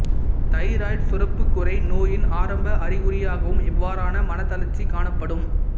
thyroid சுரப்புக் குறை நோயின் ஆரம்ப அறிகுறியாகவும் இவ்வாறான மனத்தளர்ச்சி காணப்படும்